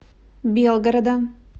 белгорода